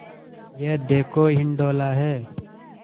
यह देखो हिंडोला है